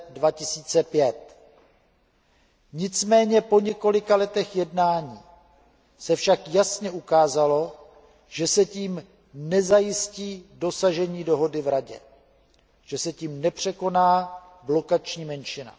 2005. Nicméně po několika letech jednání se jasně ukázalo, že se tím nezajistí dosažení dohody v Radě, že se tím nepřekoná blokační menšina.